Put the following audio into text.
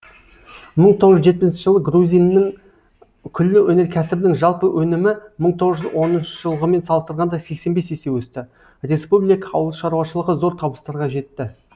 мың тоғыз жүз жетпісінші жылы грузинның күллі өнеркәсібінің жалпы өнімі мың тоғыз жүз он үшінші жылғымен салыстырғанда сексен бес есе өсті республика ауылшаруашылығы зор табыстарға жетті